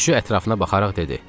Südçü ətrafına baxaraq dedi.